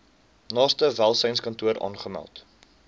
naaste welsynskantoor aanmeld